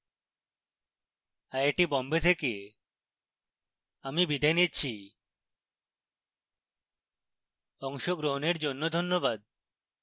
I I T Bombay থেকে আমি বিদায় নিচ্ছি আমাদের সাথে যোগাযোগের জন্য ধন্যবাদ